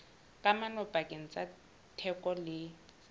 kamano pakeng tsa theko le